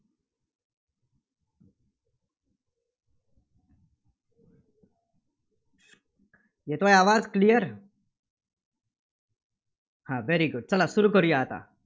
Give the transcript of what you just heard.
येतोय आवाज? clear हां very good सुरू करूया आता.